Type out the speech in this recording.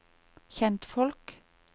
kjentfolk